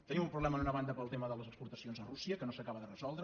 tenim un problema d’una banda pel tema de les exportacions a rússia que no s’acaba de resoldre